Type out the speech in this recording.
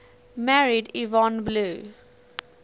married yvonne blue